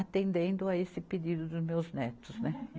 atendendo a esse pedido dos meus netos, né?